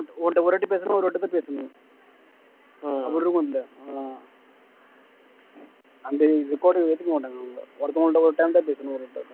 உன்கிட்ட ஒருவாட்டி பேசினா ஒருவாட்டி தான் பேசணும் அந்த record ஏத்துக்க மாட்டாங்க அவங்க ஒருத்தவங்கள்ட்ட ஒரு time தான் பேசணும்